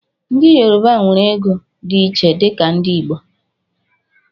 Ndị yorọba nwere ego dị iche dika ndị Igbo